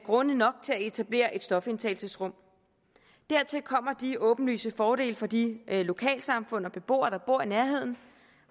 grunde nok til at etablere et stofindtagelsesrum dertil kommer de åbenlyse fordele for de lokalsamfund og beboere der bor i nærheden